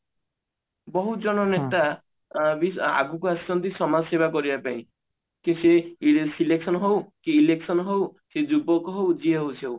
ବହୁତ ଜଣ ନେତା ବି ଆଗକୁ ଆସୁଛନ୍ତି ସମାଜ ସେବା କରିବା ପାଇଁ କି ସେ selection ହଉ କି election ହଉ ସେ ଯୁବକ ହଉ ଯିଏ ହଉ ସିଏ ହଉ